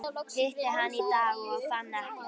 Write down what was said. Hitti hann í dag og fann ekkert.